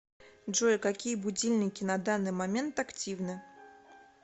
джой какие будильники на данный момент активны